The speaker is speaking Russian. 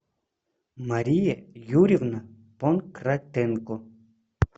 мария юрьевна понкратенко